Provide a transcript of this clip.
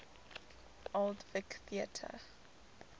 old vic theatre